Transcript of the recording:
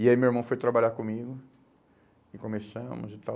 E aí meu irmão foi trabalhar comigo e começamos e tal.